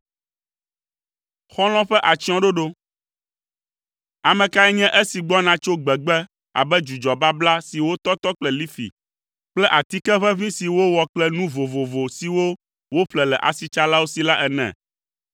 Ame kae nye esi gbɔna tso gbegbe abe dzudzɔ babla si wotɔtɔ kple lifi kple atike ʋeʋĩ si wowɔ kple nu vovovo siwo woƒle le asitsalawo si la ene?